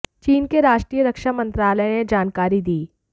चीन के राष्ट्रीय रक्षा मंत्रालय ने यह जानकारी दी